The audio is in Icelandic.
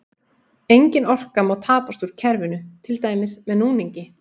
Engin orka má tapast úr kerfinu, til dæmis með núningi.